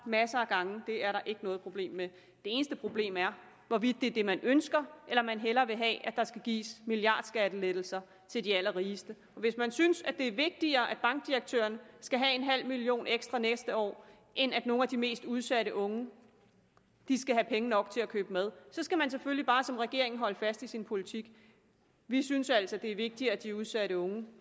masser af gange og det er der ikke noget problem med det eneste problem er hvorvidt det er det man ønsker eller man hellere vil have at der skal gives milliardskattelettelser til de allerrigeste hvis man synes det er vigtigere at bankdirektøren skal have en halv million ekstra næste år end at nogle af de mest udsatte unge skal have penge nok til at købe mad skal man selvfølgelig bare som regeringen holde fast i sin politik vi synes altså det er vigtigere at de udsatte unge